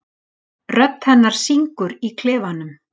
Rödd hennar syngur í klefanum.